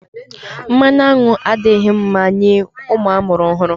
Mmanụ aṅụ adịghị mma nye ụmụ amụrụ ọhụrụ.